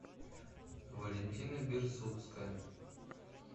валентина берсуцкая